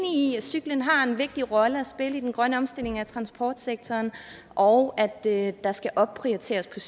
i at cyklen har en vigtig rolle at spille i den grønne omstilling af transportsektoren og at der skal opprioriteres